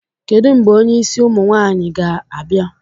Kedu mgbe onye isi ụmụ nwaanyịga-abịa?